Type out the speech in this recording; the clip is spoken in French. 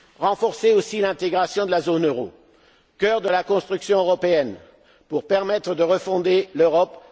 Renforçons aussi l'intégration de la zone euro, cœur de la construction européenne, pour permettre de refonder l'Europe.